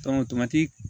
tomati